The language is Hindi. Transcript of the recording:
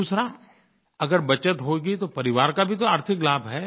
दूसरा अगर बचत होगी तो परिवार का भी तो आर्थिक लाभ है